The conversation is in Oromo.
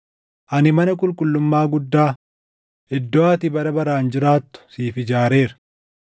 ani mana qulqullummaa guddaa, iddoo ati bara baraan jiraattu siif ijaareera.”